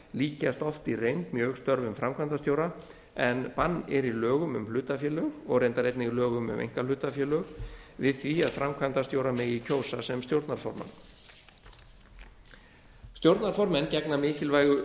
líkjast oft í reynd mjög störfum framkvæmdastjóra en bann er í lögum um hlutafélög og reyndar einnig lögum um einkahlutafélög við því að framkvæmdastjóra megi kjósa sem stjórnarformann stjórnarformenn félaga gegna mikilvægu